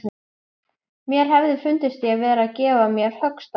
Mér hefði fundist ég vera að gefa á mér höggstað.